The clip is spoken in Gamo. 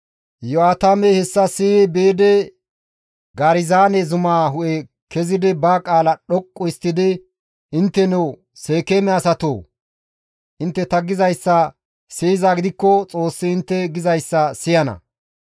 Iyo7aatamey hessa siyi biidi Garizaane zumaa hu7e kezidi ba qaala dhoqqu histtidi, «Intteno Seekeeme asatoo! Intte ta gizayssa siyizaa gidikko Xoossi intte gizayssa siyana.